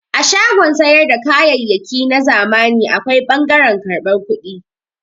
A shagon sayar da kayyayyaki na zamani akwai ɓangaren karban kudi.